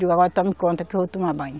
Digo, agora tome conta que eu vou tomar banho.